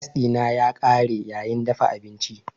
Gas dina ya kare yayin dafa abinci.